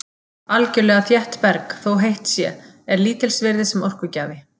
Algjörlega þétt berg, þótt heitt sé, er lítils virði sem orkugjafi.